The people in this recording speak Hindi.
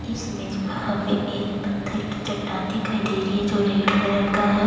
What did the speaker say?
इस इमेज एक पत्थर की चट्टान दिखाई दे रही है जो रेड कलर का है।